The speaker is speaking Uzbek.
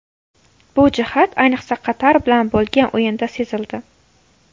Bu jihat ayniqsa Qatar bilan bo‘lgan o‘yinda sezildi.